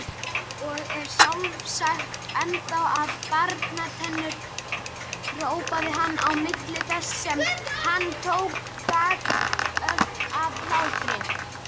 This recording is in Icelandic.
Og er sjálfsagt ennþá með barnatennurnar hrópaði hann á milli þess sem hann tók bakföll af hlátri.